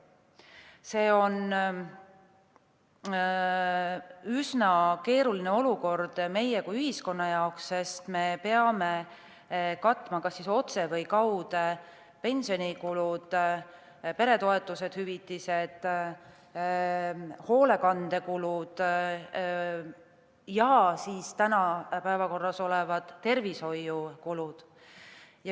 See on üsna keeruline olukord meie kui ühiskonna jaoks, sest me peame katma kas otse või kaude pensionikulud, peretoetused, hüvitised, hoolekandekulud ja täna päevakorral olevad tervishoiukulud.